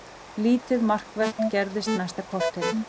Lítið markvert gerðist næsta korterið.